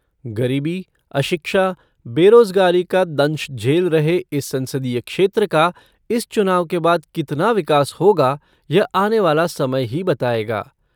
गरीबी, अशिक्षा, बेराजगारी का दंश झेल रहे इस संसदीय क्षेत्र का इस चुनाव के बाद कितना विकास होगा यह आने वाला समय ही बतायेगा।